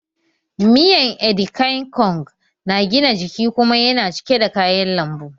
Miyan Edikaikong na gina jiki kuma yana cike da kayan lambu